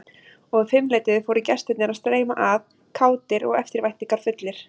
Og um fimmleytið fóru gestirnir að streyma að, kátir og eftirvæntingarfullir.